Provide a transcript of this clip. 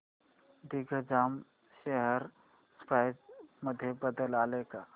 Digjam share price मध्ये बदल आलाय का